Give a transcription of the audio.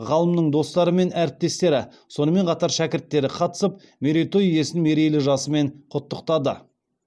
ғалымның достары мен әріптестері сонымен қатар шәкірттері қатысып мерейтой иесін мерейлі жасымен құттықтады